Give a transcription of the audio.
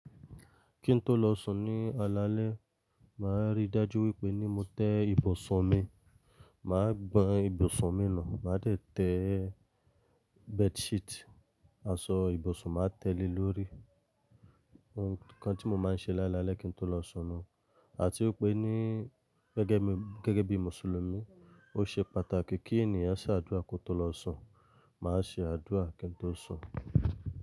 Kí n tó lọ sùn ní alalẹ́, màá rí dájú wípé ní mo tẹ́ ibùsùn mi, màá gbọn ibùsùn mi nù, màá dé tẹ́ bedsheet, aṣọ ibùsùn, màá tẹ́ẹ́ lè lórí. Òhun kan tí mo máa ń ṣe lálálẹ́ kí n tó lọ sùn ni àti wípé gẹ́gẹ́ bí Mùsùlùmí, ó ṣe pàtàkì kí ènìyàn ṣe àdúrà kó tó lọ sùn. Má se àdúrà kí ń tó sùn.